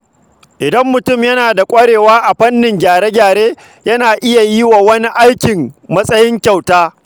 Idan mutum yana da ƙwarewa a fannin gyare-gyare, yana iya yi wa wani aiki a matsayin kyauta.